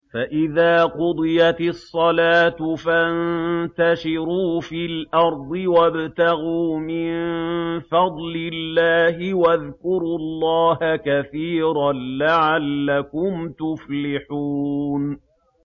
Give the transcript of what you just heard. فَإِذَا قُضِيَتِ الصَّلَاةُ فَانتَشِرُوا فِي الْأَرْضِ وَابْتَغُوا مِن فَضْلِ اللَّهِ وَاذْكُرُوا اللَّهَ كَثِيرًا لَّعَلَّكُمْ تُفْلِحُونَ